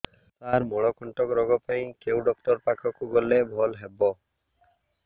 ସାର ମଳକଣ୍ଟକ ରୋଗ ପାଇଁ କେଉଁ ଡକ୍ଟର ପାଖକୁ ଗଲେ ଭଲ ହେବ